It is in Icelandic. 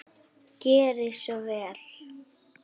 Gerið svo vel!